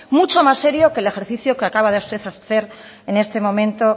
mucho más serio que el ejercicio que acaba usted de hacer en este momento